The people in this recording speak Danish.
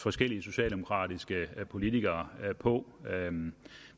forskellige socialdemokratiske politikere på